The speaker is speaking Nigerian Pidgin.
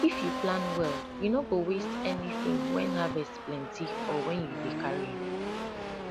if you plan well you no go waste anything when harvest plenty or when you dey carry am